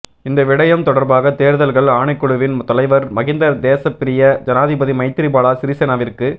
இந்த விடயம் தொடர்பாக தேர்தல்கள் ஆணைக்குழுவின் தலைவர் மஹிந்த தேசப்பிரிய ஜனாதிபதி மைத்திரிபால சிறிசேனவிற்கு